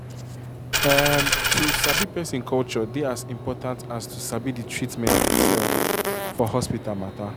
umm to sabi person culture dey as important as to sabi the treatment itself for hospital matter um